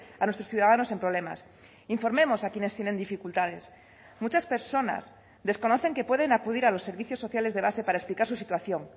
a nuestros ciudadanos en problemas informemos a quienes tienen dificultades muchas personas desconocen que pueden acudir a los servicios sociales de base para explicar su situación